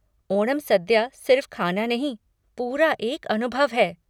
ओणम सद्या सिर्फ़ खाना नहीं, पूरा एक अनुभव है।